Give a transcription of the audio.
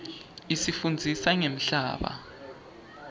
isifundzisa ngemhlaba